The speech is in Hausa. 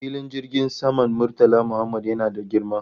Filin jirgin saman Murtala Mohammed yana da girma